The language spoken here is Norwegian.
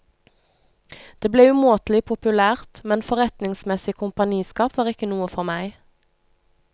Det ble umåtelig populært, men forretningsmessig kompaniskap var ikke noe for meg.